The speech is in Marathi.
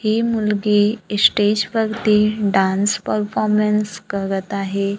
ही मुलगी स्टेज वरती डान्स परफॉर्मन्स करत आहे.